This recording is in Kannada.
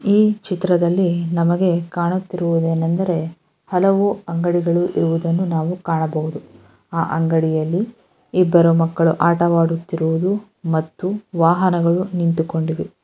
ಈ ಚಿತ್ರದಲ್ಲಿ ನಮಗೆ ಕಾಣುತ್ತಿರುವುದು ಏನೆಂದರೆ ಹಲವು ಅಂಗಡಿಗಳು ಇರುವುದನ್ನು ನಾವು ಕಾಣಬಹುದು ಆ ಅಂಗಡಿಯಲ್ಲಿ ಇಬ್ಬರು ಮಕ್ಕಳು ಆಟವಾಡುತ್ತಿರುವುದು ಮತ್ತು ವಾಹನಗಳು ನಿಂತುಕೊಂಡಿದೆ .